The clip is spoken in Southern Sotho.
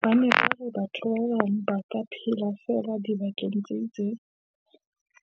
Ba ne ba re batho ba bang ba ka phela feela dibakeng tse itseng,